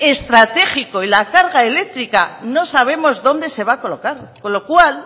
estratégico y la carga eléctrica no sabemos dónde se va a colocar con lo cual